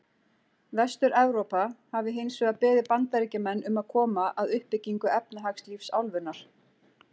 Vestur-Evrópa hafi hins vegar beðið Bandaríkjamenn um að koma að uppbyggingu efnahagslífs álfunnar.